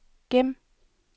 gem